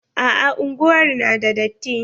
A'a unguwar na da datti.